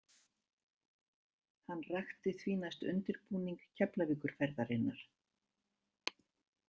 Hann rakti því næst undirbúning Keflavíkurferðarinnar.